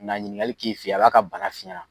Ka na ɲininkali k'i fe yen , a b'a ka bana f'i Ɲɛna.